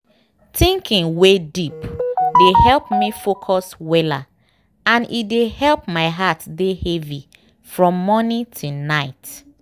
thinking wey deep dey help me focus weller and e dey help my heart dey heavy from morning till night